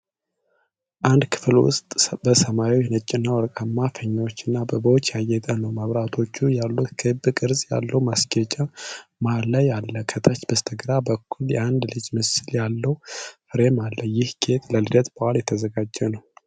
አንድ ክፍል በሰማያዊ፣ ነጭ እና ወርቃማ ፊኛዎች እና አበቦች ያጌጠ ነው። መብራቶች ያሉት ክብ ቅርጽ ያለው ማስጌጫ መሀል ላይ አለ። ከታች በስተግራ በኩል የአንድ ልጅ ምስል ያለው ፍሬም አለ። ይህ ጌጥ ለልደት በዓል የተዘጋጀ ነው?